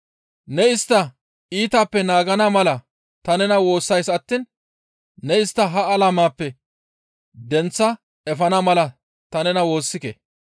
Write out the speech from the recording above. Ne istta iitappe naagana mala ta nena woossays attiin ne istta ha alameppe denththa efana mala ta nena woossike.